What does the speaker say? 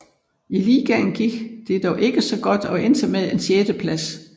I ligaen gik det dog ikke så godt og endte med en sjetteplads